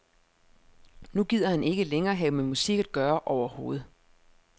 Nu gider han ikke længere have med musik at gøre overhovedet.